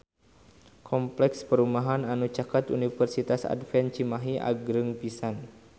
Kompleks perumahan anu caket Universitas Advent Cimahi agreng pisan